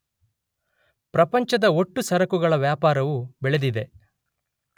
ಪ್ರಪಂಚದ ಒಟ್ಟು ಸರಕುಗಳ ವ್ಯಾಪಾರವೂ ಬೆಳೆದಿದೆ.